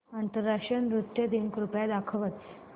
आंतरराष्ट्रीय नृत्य दिन कृपया दाखवच